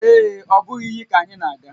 Ee e, ọ bụghị iyi ka anyị na-aga